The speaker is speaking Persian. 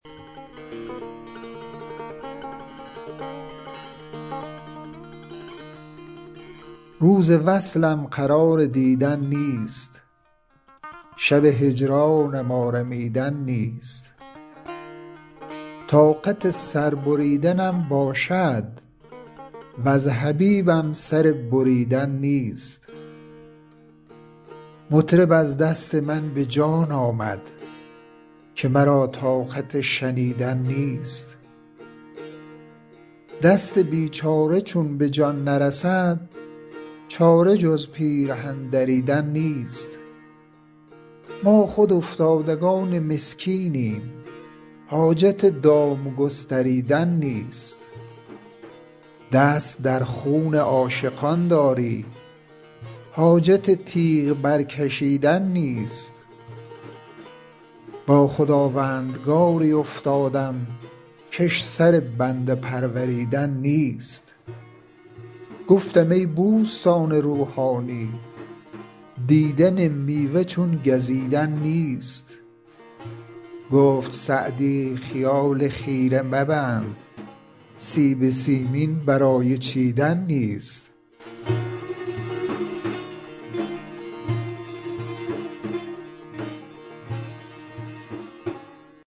روز وصلم قرار دیدن نیست شب هجرانم آرمیدن نیست طاقت سر بریدنم باشد وز حبیبم سر بریدن نیست مطرب از دست من به جان آمد که مرا طاقت شنیدن نیست دست بیچاره چون به جان نرسد چاره جز پیرهن دریدن نیست ما خود افتادگان مسکینیم حاجت دام گستریدن نیست دست در خون عاشقان داری حاجت تیغ برکشیدن نیست با خداوندگاری افتادم کش سر بنده پروریدن نیست گفتم ای بوستان روحانی دیدن میوه چون گزیدن نیست گفت سعدی خیال خیره مبند سیب سیمین برای چیدن نیست